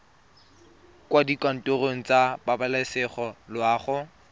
kwa dikantorong tsa pabalesego loago